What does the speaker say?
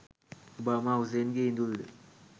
Obama හුසේන්ගේ ඉඳුල්ද?